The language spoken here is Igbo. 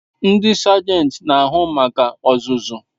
Ndi sagenti n'ahu maka ozuzu